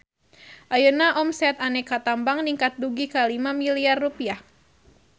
Ayeuna omset Aneka Tambang ningkat dugi ka 5 miliar rupiah